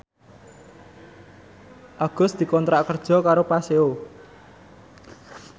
Agus dikontrak kerja karo Paseo